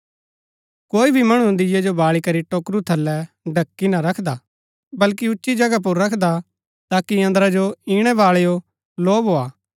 कोई भी मणु दीये जो बाळी करी टोकरू थलै ढ़की ना रखदा वल्कि उच्ची जगह पुर रखदा ताकि अन्दरा जो इणै बाळैओ लौ भोआ